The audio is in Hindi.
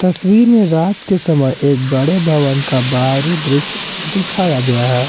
तस्वीर में रात के समय एक बड़े भवन का बाहरी दृश्य दिखाया गया है।